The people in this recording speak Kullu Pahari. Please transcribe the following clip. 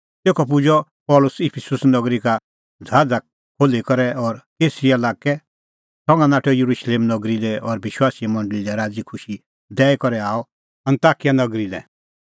तेखअ पुजअ पल़सी इफिसुस नगरी का ज़हाज़ खोल्ही करै और कैसरिया लाक्कै संघा नाठअ येरुशलेम नगरी लै और विश्वासीए मंडल़ी लै राज़ीखुशी दैई करै आअ अन्ताकिया नगरी लै